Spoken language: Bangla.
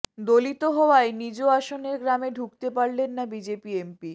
দলিত হওয়ায় নিজ আসনের গ্রামে ঢুকতে পারলেন না বিজেপি এমপি